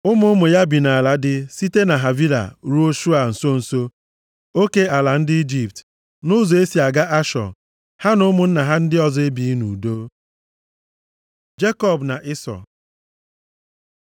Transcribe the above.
Ụmụ ụmụ ya bi nʼala dị site na Havila ruo Shua nso nso oke ala ndị Ijipt, nʼụzọ e si aga Ashọ. Ha na ụmụnna ha ndị ọzọ ebighị nʼudo. Jekọb na Ịsọ